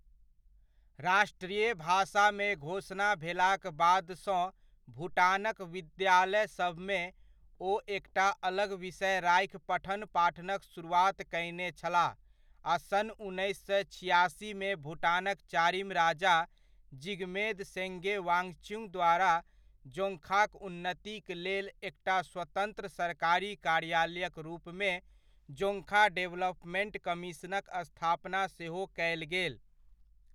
राष्ट्रीय भाषामे घोषणा भेलाक बादसँ भुटानक विद्यालयसभमे, ओ एकटा अलग विषय राखि पठन पाठनक सुरुआत कयने छलाह आ सन् उन्नैस सए छिआसीमे भुटानक चारिम राजा जिगमेद सेङगे वाङछ्युग द्वारा जोङ्खाक उन्नतिक लेल एकटा स्वतन्त्र सरकारी कार्यालयक रूपमे जोङ्खा डेवलपमेंट कमीशनक स्थापना सेहो कयल गेल।